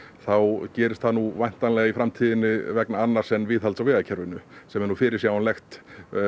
þá gerist það nú væntanlega í framtíðinni vegna annars en viðhalds á vegakerfinu sem er nú fyrirsjáanlegt